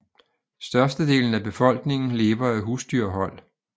Størstedelen af befolkningen lever af husdyrhold